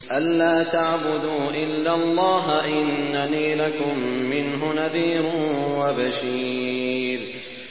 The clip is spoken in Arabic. أَلَّا تَعْبُدُوا إِلَّا اللَّهَ ۚ إِنَّنِي لَكُم مِّنْهُ نَذِيرٌ وَبَشِيرٌ